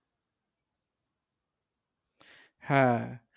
হ্যাঁ